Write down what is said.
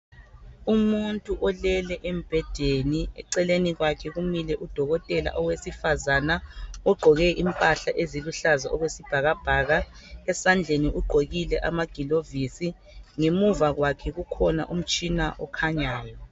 umuntu olele eceleni kwakhe kumile udokotela owesifazana ogqoke impahla eziluhlaza okwesibhakabhaka esandleni ugqokile amagilovisi ngemuva kwakhe kukhona umtshina okhanyayo